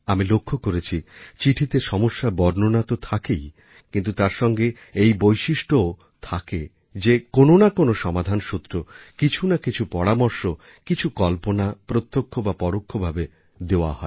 আমি লক্ষ্য করেছি চিঠিতে সমস্যার বর্ণনা তো থাকেই কিন্তু তার সঙ্গে এই বৈশিষ্ট্যও থাকে যে কোনও না কোনও সমাধান সূত্র কিছু না কিছু পরামর্শ কিছু কল্পনা প্রত্যক্ষ বা পরোক্ষভাবে দেওয়া হয়